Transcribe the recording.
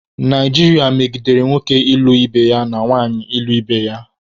Naijiria medigere nwoke ịlụ ibe ya na nwanyị ịlụ ibe ya.